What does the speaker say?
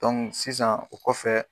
sisan o kɔfɛ.